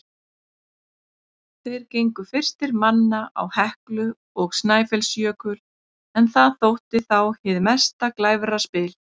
Þeir gengu fyrstir manna á Heklu og Snæfellsjökul, en það þótti þá hið mesta glæfraspil.